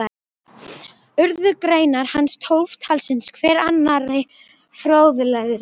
Urðu greinar hans tólf talsins, hver annarri fróðlegri.